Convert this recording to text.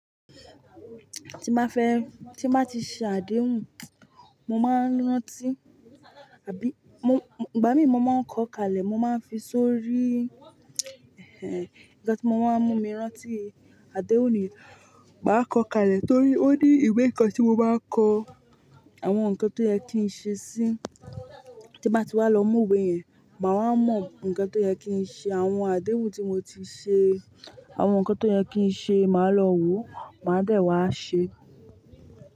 Tí n bá fẹ́, tí n bá ti ṣe àdéhùn, mo máa ń rántí, àbí ìgbà mí mo máa ń kọ kalẹ̀, mo máa ń fi sórí, nǹkan tí mo máa ń mú mi rántí. Àdéhùn ni, màá kọ kalẹ̀ torí ó ní ìwé kan tí mo bá kọ, àwọn nǹkan tó yẹ kí n ṣe sí i. Tí n bá ti wá lọ mú ìwé yẹn, màá mọ̀ nǹkan tó yẹ kí n ṣe. Àwọn àdéhùn tí mo ti ṣe, àwọn nǹkan tó yẹ kí n ṣe, màá lọ wò, màá dẹ̀ wá ṣe.